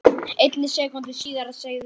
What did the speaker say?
einni sekúndu síðar segðu tveir